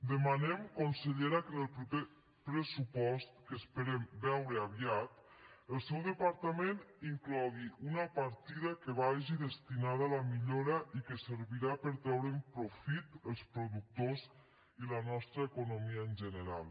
demanem consellera que en el proper pressupost que esperem veure aviat el seu departament inclogui una partida que vagi destinada a la millora i que servirà per treure’n profit els productors i la nostra economia en general